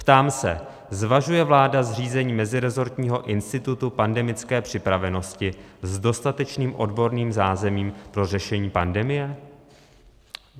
Ptám se, zvažuje vláda zřízení meziresortního institutu pandemické připravenosti s dostatečným odborným zázemím pro řešení pandemie?